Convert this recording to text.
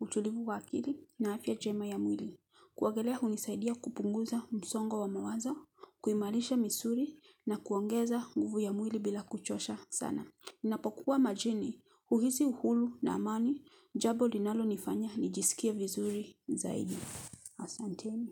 utulivu wakili na afya njema ya mwili kuogelea hunisaidia kupunguza msongo wa mawazo kuimalisha misuri na kuongeza guvu ya mwili bila kuchosha sana napokuwa majini huhisi uhulu na amani jabo linalo nifanya nijisikie vizuri zaidi asanteni.